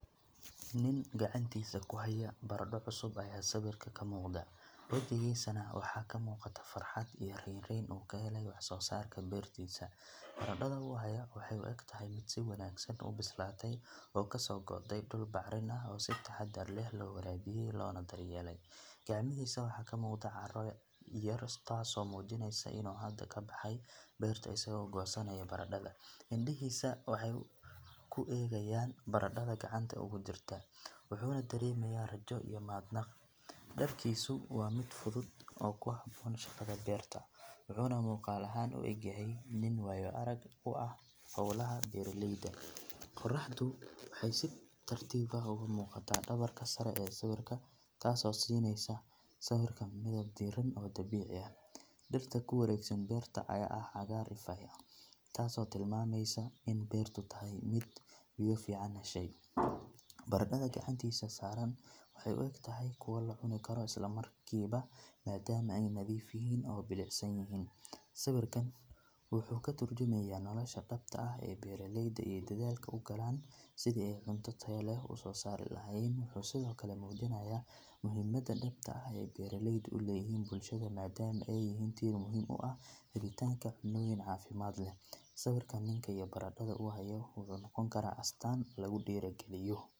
Nin gacantisa kuxayo barada cusub aya sawirka kamugda, wijigana waxa kamugata farhat iyo renren oo kaxele wax sosarka bertisa, baradan u xayo waxa u igtahay mid si wanagsan ubistalay oo kasogoodey duul bacrin ah oo si tahadar leh lowarawiye lona daryeley, gacmisa waxa kamugda carada iyoda taas mujineyso inu xada kabaxay berta isago bihinayo barada, indihisa waxay kuegayan baradadha gacanta ogujirta, wuxuna daremaya rajo iyo mahadnaq, darkisu wa mid fudud oo kuhaboon shagada berta wuxun mugaal aha uigyaxay nin wayo arag u ah xowlaha beraleyda, qoraxdu waxay si tartib ah ogamugata dawarka sare ee sawirka taas oo sinaysa sawirka dirgalin oo dabici ah , shibrita cagar taas oo tilmameysa in berta tahay mid lagac fican dashay, baradadha gacantisa saran waxay uigtaxay kuwa madam ay madiif yixiin oo bilicsanyicin, sawirkan wuxu katarjumaya nolosha dabta ah ee beraleyda ey dadhalka ugalan sidhi ay cunta taya leh usosari lacayen, in Sidhokale mujinaya muxiimada dabta ay beraleyda uleyixin bilshada madamu ay yixiin inti muxiim u ah hilitanka cunta cafimad leh, sawirka ninka iyo baradadha uxayo waxa nogon karaa astaan kagudiragaliyo.